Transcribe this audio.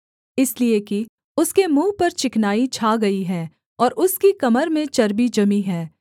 इसलिए कि उसके मुँह पर चिकनाई छा गई है और उसकी कमर में चर्बी जमी है